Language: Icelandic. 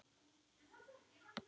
Eftir þetta.